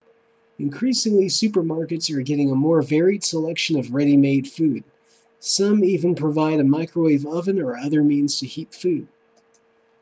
increasingly supermarkets are getting a more varied section of ready-made food some even provide a microwave oven or other means to heat food